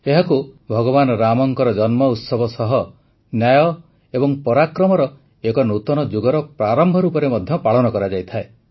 ଏହାକୁ ଭଗବାନ ରାମଙ୍କ ଜନ୍ମ ଉତ୍ସବ ସହ ନ୍ୟାୟ ଏବଂ ପରାକ୍ରମର ଏକ ନୂତନ ଯୁଗର ପ୍ରାରମ୍ଭ ରୂପରେ ମଧ୍ୟ ପାଳନ କରାଯାଇଥାଏ